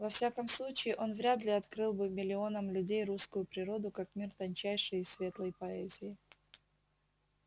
во всяком случае он вряд ли открыл бы миллионам людей русскую природу как мир тончайшей и светлой поэзии